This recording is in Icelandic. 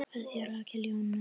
Kveðja, Rakel Jóna.